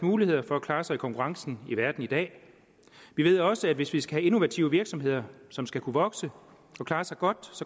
muligheder for at klare sig i konkurrencen i verden i dag vi ved også at hvis vi skal have innovative virksomheder som skal kunne vokse og klare sig godt